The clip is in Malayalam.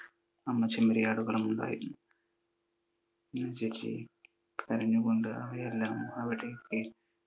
അമ്മ ചെമ്മരിയാടുകളും ഉണ്ടായിരുന്നു. കരഞ്ഞു കൊണ്ട് അവയെല്ലാം അവിടെ